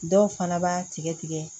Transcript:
Dɔw fana b'a tigɛ tigɛ tigɛ